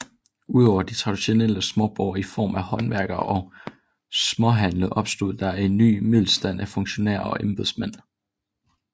Udover de traditionelle småborgere i form af håndværkere og småhandlende opstod der en ny middelstand af funktionærer og embedsmænd